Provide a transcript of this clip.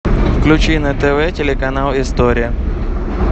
включи на тв телеканал история